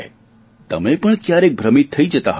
તમે પણ ક્યારેક ભ્રમિત થઇ જતા હશો